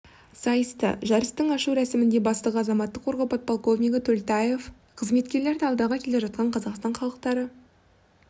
сайысты жарыстың ашу рәсімінде бастығы азаматтық қорғау подполковнигі төлтаев қызметкерлерді алдағы келе жатқан қазақстан халықтары